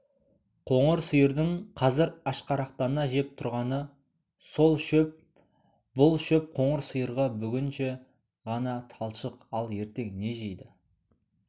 қоңыр сиырдың қазір ашқарақтана жеп тұрғаны сол шөп бұл шөп қоңыр сиырға бүгінше ғана талшық ал ертең не жейді